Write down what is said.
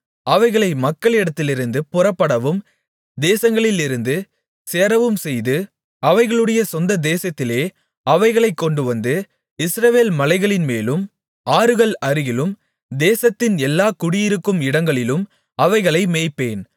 அவைகளை மக்களிடத்திலிருந்து புறப்படவும் தேசங்களிலிருந்து சேரவும்செய்து அவைகளுடைய சொந்ததேசத்திலே அவைகளைக் கொண்டுவந்து இஸ்ரவேல் மலைகளின்மேலும் ஆறுகள் அருகிலும் தேசத்தின் எல்லா குடியிருக்கும் இடங்களிலும் அவைகளை மேய்ப்பேன்